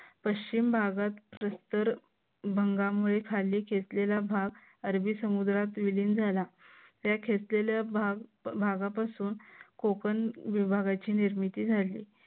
पश्चिम भागात प्रस्तर भागामुळे खाली घेतलेला भाग अरबी समुद्रात विलीन झाला त्या खेचलेल्या भागापासून कोकण विभागाची निर्मिती झाली.